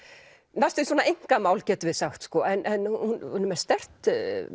næstum því svona einkamál getum við sagt sko en hún er með sterkt